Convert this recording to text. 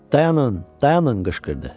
Dayanın, dayanın qışqırdı.